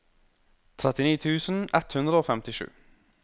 trettini tusen ett hundre og femtisju